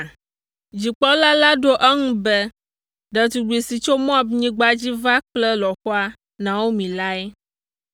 Dzikpɔla la ɖo eŋu be, “Ɖetugbi si tso Moabnyigba dzi va kple lɔ̃xoa, Naomi lae.